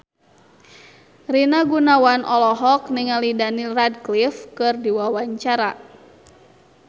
Rina Gunawan olohok ningali Daniel Radcliffe keur diwawancara